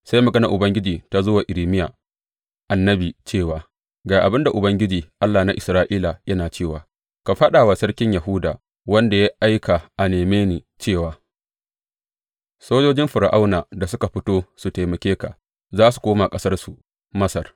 Sai maganar Ubangiji ta zo wa Irmiya annabi cewa, Ga abin da Ubangiji, Allah na Isra’ila, yana cewa ka faɗa wa sarkin Yahuda, wanda ya aika a neme ni cewa, Sojojin Fir’aunan da suka fito su taimake ka, za su koma ƙasarsu, Masar.